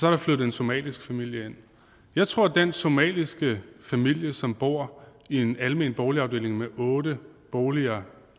er flyttet en somalisk familie ind jeg tror at den somaliske familie som bor i en almen boligafdeling med otte boliger